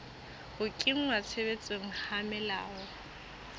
ho kenngwa tshebetsong ha melao